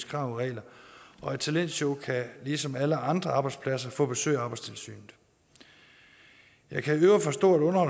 krav og regler og et talentshow kan ligesom alle andre arbejdspladser få besøg af arbejdstilsynet jeg kan i øvrigt forstå at